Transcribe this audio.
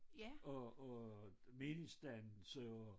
Og og meningsdannelse og og